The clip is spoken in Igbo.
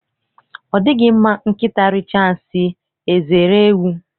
Ọ dịghị mma nkịta richaa nsị, eze eree ewu.